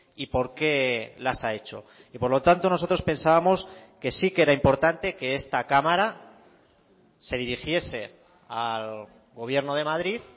y por qué las ha hecho y por lo tanto nosotros pensábamos que sí que era importante que esta cámara se dirigiese al gobierno de madrid